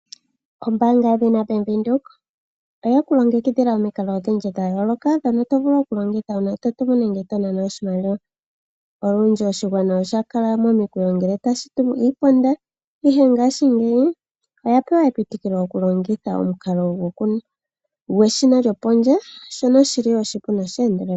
Ombanga yaVenduka oye ku longekidhila omikalo odhindji dhayooloka dhono tovulu okulongitha ngele totumu nenge tonana oshimaliwa olundji oshigwana osha kala momikweyo ngele tashi tumu iipanda ihe ngaashingeyi oya pewa epitukile lyokulongitha omukalo gweshina lyopondje shoka shili oshipu nosheendelela.